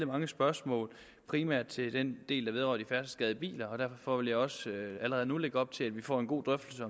mange spørgsmål primært til den del der vedrører de færdselsskadede biler og derfor vil jeg også allerede nu lægge op til at vi får en god drøftelse